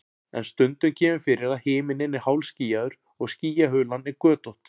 en stundum kemur fyrir að himinninn er hálfskýjaður og skýjahulan er götótt